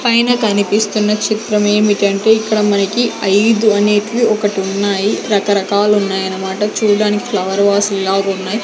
పైన కనిపిస్తున్న చిత్రమేమిటంటే ఇక్కడ మనకి ఐదు అనేటివి ఒకటి ఉన్నాయి రకరకాలు ఉన్నాయన్నమాట చూడడానికి ఫ్లవర్ వాసు లాగా ఉన్నాయి.